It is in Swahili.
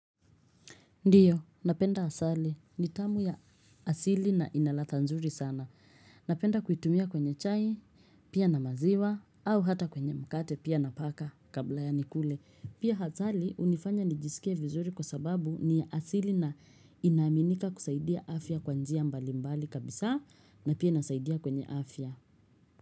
Ndio, napenda asali. Ni tamu ya asili na inaladha nzuri sana. Napenda kuitumia kwenye chai, pia na maziwa, au hata kwenye mkate pia napaka kabla ya nikule. Pia asali, hunifanya nijisikie vizuri kwa sababu ni asili na inaaminika kusaidia afya kwa njia mbali mbali kabisa na pia inasaidia kwenye afya.